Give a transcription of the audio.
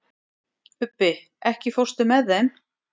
Magngeir, bókaðu hring í golf á föstudaginn.